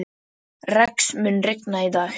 Rex, mun rigna í dag?